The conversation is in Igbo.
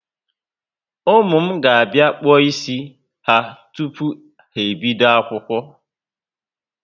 Ụmụ m ga bia kpuo ísì ha tupu ha ebido akwụkwọ